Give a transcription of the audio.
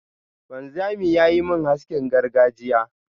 wanzamin yayi min haskin gargajiya.